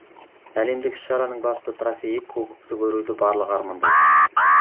әлемдік іс шараның басты трофейі кубокты көруді барлығы армандайды